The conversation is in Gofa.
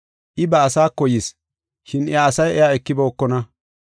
I ba asaako yis, shin iya asay iya ekibookona.